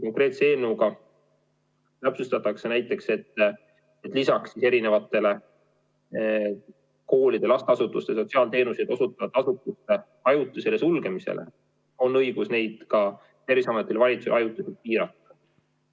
Konkreetse eelnõuga täpsustatakse näiteks, et lisaks koolide, lasteasutuste, sotsiaalteenuseid osutavate asutuste ajutisele sulgemisele on Terviseametil ja valitsusel õigus nende tegevust ajutiselt piirata.